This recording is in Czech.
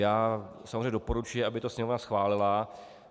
Já samozřejmě doporučuji, aby to Sněmovna schválila.